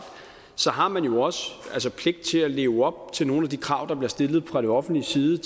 har man jo også pligt til at leve op til nogle af de krav der bliver stillet fra det offentliges side